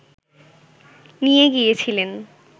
নিয়ে গিয়েছিলেন